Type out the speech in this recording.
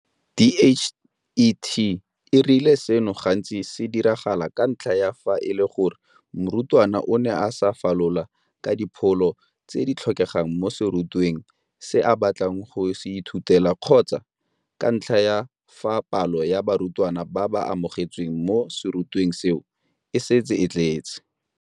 DHET e rile seno gantsi se diragala ka ntlha ya fa e le gore morutwana o ne a sa falola ka dipholo tse di tlhokegang mo serutweng se a batlang go se ithutela kgotsa ka ntlha ya fa palo ya barutwana ba ba amogetsweng mo serutweng seo e setse e tletse.